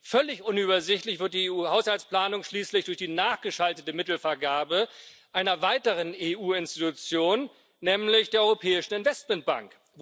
Völlig unübersichtlich wird die EU Haushaltsplanung schließlich durch die nachgeschaltete Mittelvergabe einer weiteren EU Institution, nämlich der Europäischen Investitionsbank.